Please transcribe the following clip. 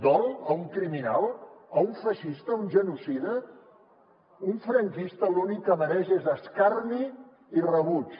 dol a un criminal a un feixista a un genocida un franquista l’únic que mereix és escarni i rebuig